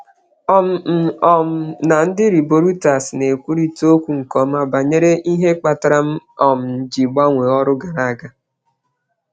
Ana m ekwurịta okwu nke ọma na ndị na-ewe mmadụ n'ọrụ banyere ihe kpatara ịgbanwe ọrụ m gara aga.